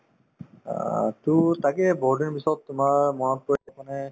অ, to তাকে বহুতদিনৰ পিছত তোমাৰ মনত পৰিলে মানে